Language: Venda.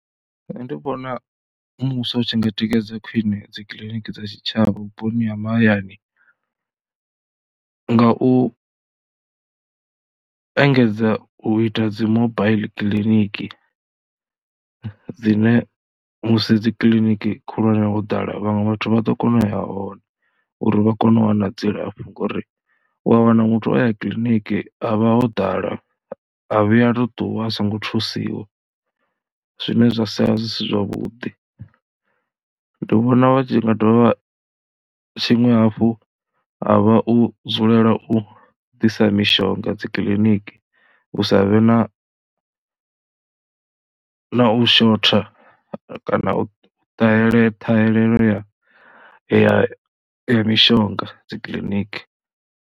Nṋe ndi vhona muvhuso u tshi nga tikedza khwine dzi kiliniki dza tshitshavha vhuponi ha mahayani nga u engedza u ita dzi mobaiḽi kiḽiniki dzine musi dzi kiḽiniki khulwane ho ḓala vhaṅwe vhathu vha ḓo kona u ya hone uri vha kone u wana dzilafho ngori u ya wana muthu o ya kiḽiniki ha vha ho ḓala a vhuya tou ṱuwa a songo thusiwa zwine zwa sala zwi si zwavhuḓi. Ndi vhona vha tshi nga dovha tshiṅwe hafhu ha vha u dzulela u ḓisa mishonga dzi kiḽiniki, hu sa vhe na na u shotha kana u talele ṱhahelelo ya ya ya mishonga dzi kiḽiniki.